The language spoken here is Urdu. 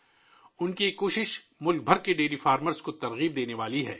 ان کی یہ کوشش ملک بھر کے ڈیری فارمرز کو متاثر کرنے والی ہے